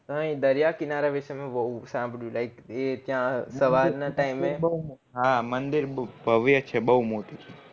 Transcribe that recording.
દરિયા કિનારા વિષે મેં બૌ સાંભળ્યું like એ ત્યાં સવાર ના time